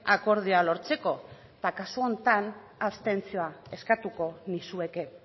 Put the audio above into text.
akordioa lortzeko eta kasu honetan abstentzioa eskatuko nizueke